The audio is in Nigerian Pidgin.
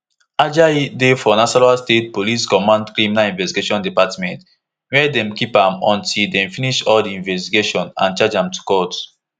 ajayi dey for nasarawa state police command criminal investigation department wia dem keep am until dem finish all di investigation and charge am to court